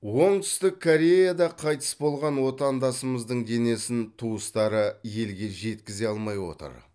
оңтүстік кореяда қайтыс болған отандасымыздың денесін туыстары елге жеткізе алмай отыр